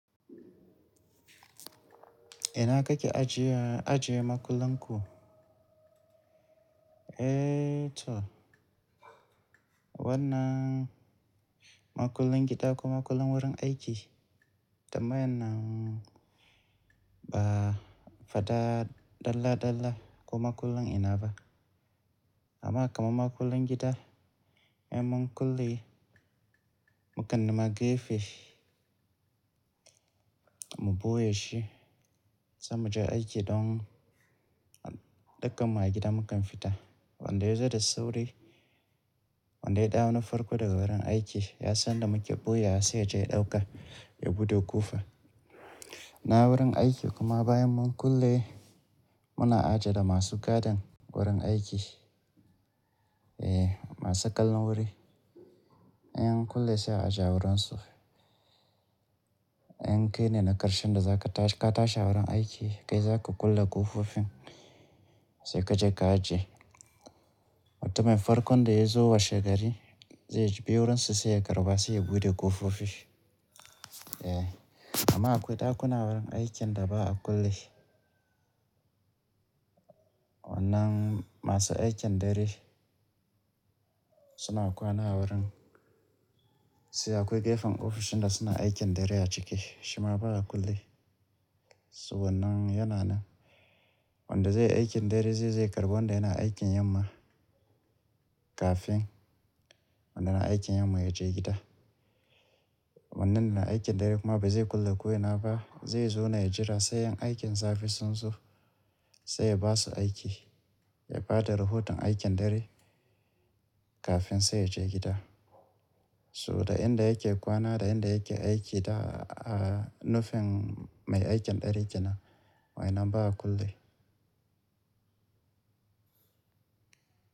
Ina kake ajiye, ajiye makullan ku? Eh to, wannan makullan gida ko makullan wurin aiki? Tambayan nan ba faɗa dalla dalla ko makullan ina ba. Amma kaman makullan gida, bayan mun kulle, mu kan nima gefe, mu ɓoye shi muje aiki don dukkan mahaƙai da mu kan fita. Wanda ya zo da sauri, wanda ya dawo na farko daga wurin aiki, ya sanda muke ɓoye ya saya ja ya ɗauka ya buɗe ƙofa. Na wurin aiki kuma bayan mun kulle, muna ajiye da masu gadon wurin aiki, eh masu ƙallon wuri. In mun kulle sai a ajiye wurinsu. In kai ne na ƙarshen da za ka tashi ka tashi wurin aiki, kai za ka kulle ƙofofin sai ka je ka ajiye. Mutumun farkon da ya zo washe gari, zai je biyo wurinsa sai ya karɓa sai ya buɗe ƙofofi. Eh, amma akwai ɗakuna wurin aiki da ba a kulle. Wannan masu aikin dare suna kwana wurin. Sai akwai gefen ofishin da suna aikin dare ya cike, shima ba a kulle. So wannan yana nan. Wanda zai yi aikin dare zai je karɓo wanda yana aikin yamma kafin wanda na aikin yamma ya je gida. Wanda yana aikin dare kuma bai zai kulle ko ina ba, zai zo na ya jira sai yan aikin saficsun su sai ya ba su aiki, ya ba da rahoton aikin dare kafin sai ya je gida. Sabo da inda yake kwana da inda yake aiki da a nufin mai aikin dare kenan, wai nan ba a kulle.